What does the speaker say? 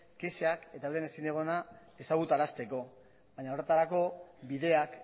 kexak eta euren ezin egona ezagutarazteko baina horretarako bideak